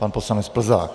Pan poslanec Plzák.